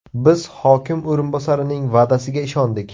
Biz hokim o‘rinbosarining va’dasiga ishondik.